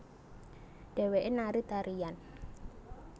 Dhéwéké nari tarian